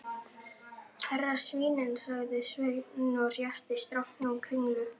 Hérna svínin, sagði Sveinn og rétti strákunum kringlu.